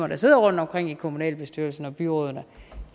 der sidder rundtomkring i kommunalbestyrelserne og byrådene